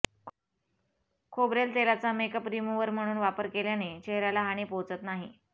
खोबरेल तेलाचा makeup remover म्हणून वापर केल्याने चेहऱ्याला हानी पोहोचत नाही